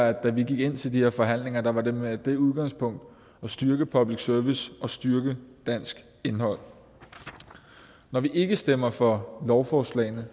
at da vi gik ind til de her forhandlinger var det med det udgangspunkt at styrke public service og styrke dansk indhold når vi ikke stemmer for lovforslagene